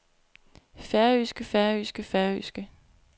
færøske færøske færøske